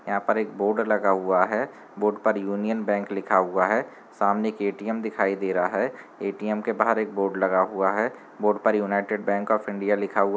यहाँ पर एक बोर्ड लगा हुआ है बोर्ड पर यूनियन बैंक लिखा हुआ है सामने एक ए.टी.एम. दिखाई दे रहा है ए.टी.एम. के बाहर एक बोर्ड लगा हुआ है बोर्ड पर यूनाइटेड बैंक ऑफ इंडिया लिखा हुआ --